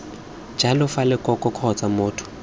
jalo fa lekoko kgotsa motho